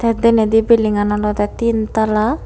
deynedy bildingun olodey tin tala.